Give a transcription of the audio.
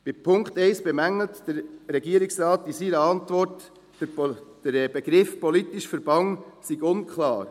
Bei Punkt 1 bemängelt der Regierungsrat in seiner Antwort, der Begriff «politischer Verband» sei unklar.